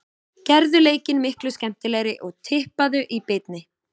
Gerðu leikinn miklu skemmtilegri og tippaðu í beinni.